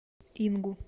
ингу